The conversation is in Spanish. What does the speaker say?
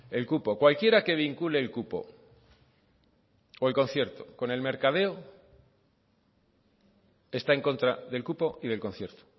el cupo cualquiera que vincule el cupo o el concierto con el mercadeo está en contra del cupo y del concierto